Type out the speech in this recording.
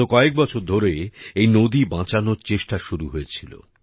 গত কয়েক বছর ধরে এই নদী বাঁচানোর চেষ্টা শুরু হয়েছিল